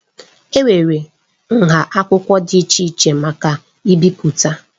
Enwere nha akwụkwọ dị iche iche maka ibipụta.